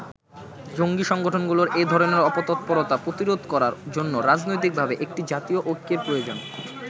জঙ্গী সংগঠনগুলোর এধরনের অপতৎপরতা প্রতিরোধ করার জন্য রাজনৈতিকভাবে একটি জাতীয় ঐক্যের প্রয়োজন।